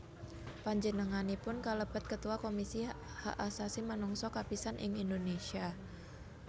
Panjenenganipun kalebet Ketua Komisi Hak Asasi Manungsa kapisan ing Indonésia